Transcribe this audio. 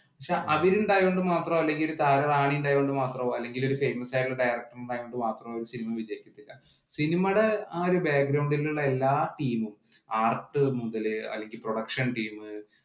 പക്ഷേ അവരുണ്ടായത് കൊണ്ട് മാത്രമോ, താര റാണി ഉണ്ടായത് കൊണ്ട് മാത്രമോ അല്ലെങ്കില്‍ ഒരു famous ആയിട്ടുള്ള director ഉണ്ടായത് കൊണ്ട് മാത്രമോ ഒരു സിനിമ വിജയിക്കില്ല. സിനിമയുടെ ആ ഒരു background ഇലുള്ള എല്ലാ team ഉം, art മുതല് അല്ലെങ്കില്‍ production team